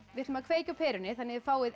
við ætlum að kveikja á perunni þannig að þið fáið